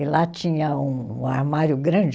E lá tinha um um armário grande